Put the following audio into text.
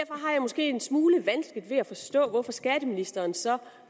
måske en smule vanskeligt ved at forstå hvorfor skatteministeren så